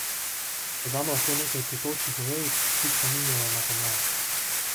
Dodamo lahko nekaj cvetočih vejic, ki spominjajo na pomlad.